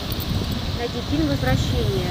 найди фильм возвращение